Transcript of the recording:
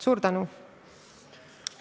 Suur tänu!